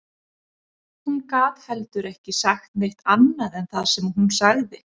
Hún gat heldur ekki sagt neitt annað en það sem hún sagði